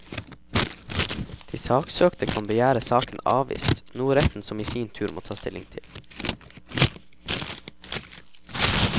De saksøkte kan begjære saken avvist, noe retten som i sin tur må ta stilling til.